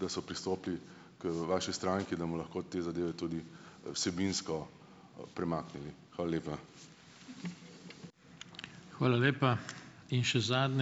da so pristopili k vaši stranki, da bomo lahko te zadeve tudi vsebinsko, premaknili. Hvala lepa.